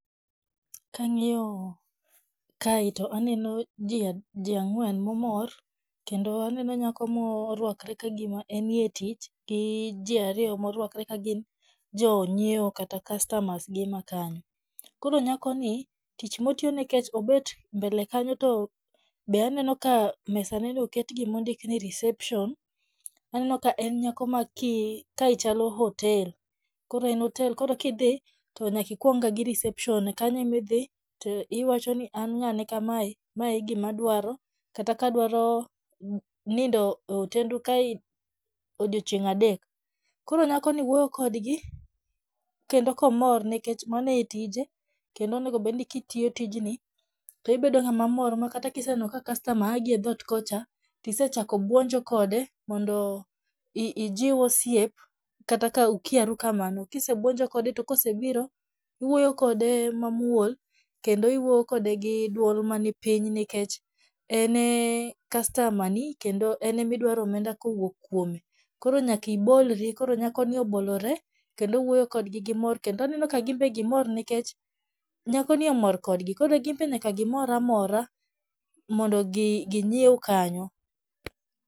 Ka ang'iyo kae to aneno ji ang'wen ma omor, kendo aneno nyako morwakore ka gima enie tich gi ji ariyo morwakore ka gin jonyiewo kata customers gi ma kanyo. Koro nyakoni, tich motiyo nekech obet mbele kanyo to be aneno ka mesaneno oket gima ondik ni reception. Aneno ka en nyako ma kae chalo hotel, koro en hotel koro kidhi to nyaka ikwongga gi reception koro kanyo ema idhi to iwachoni an ng'ane kamae, mae e gima adwaro kata ka adwaro nindo e hotendu kae odiochieng' adek. Koro nyakoni wuoyo kodgi, kendo komor nikech mano e tije , kendo onego obed ni kitiyo tijni to ibedo ng'ama mor makata kiseneno ka customer a gi e dhoot kocha, to isechako bwonjo kode mondo ijiw osiep kata ka ukiaru kamano .Kisebwonjo kode to kosebiro , iwuoyo kode mamuol kendo iwuoyo kode gi dwol mani piny nikech en e customer ni kendo en ema idwaro omenda kowuok kuome. Koro nyaka ibolri, koro nyakoni obolore kendo owuoyo kodgi gi mor kendo ginbe aneno ka gimor nikech nyakoni omor kodgi. Koro ginbe nyaka gimor amora mondo ginyiew kanyo.